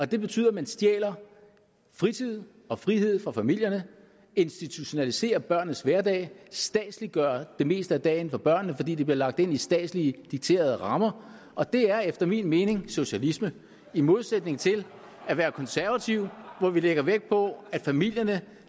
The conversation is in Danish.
det betyder at man stjæler fritid og frihed fra familierne institutionaliserer børnenes hverdag statsliggør det meste af dagen for børnene fordi de bliver lagt ind i statslige dikterede rammer og det er efter min mening socialisme i modsætning til at være konservativ hvor vi lægger vægt på at familierne